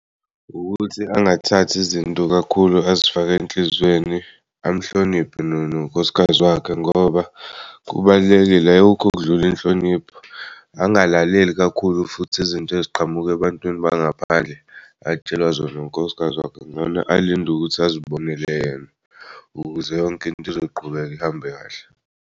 Ukuthi angathathi izinto kakhulu azifake enhlizweni amhloniphe nonkosikazi wakhe ngoba kubalulekile akukho okudlula inhlonipho angalaleli kakhulu futhi izinto eziqhamuke ebantwini bangaphandle atshelwa zona ngonkosikazi wakhe ngcono alinde ukuthi azibonele yena ukuze yonkinto izoqhubeka ihambe kahle.